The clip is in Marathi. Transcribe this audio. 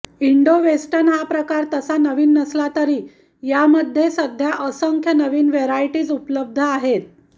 इंडो वेस्टर्न हा प्रकार तसा नवीन नसला तरी यामध्ये सध्या असंख्य नवीन व्हरायटीज उपलब्ध आहेत